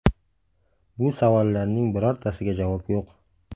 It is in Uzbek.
Bu savollarning birortasiga javob yo‘q.